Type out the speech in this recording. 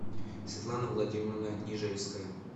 светлана владимировна нежельская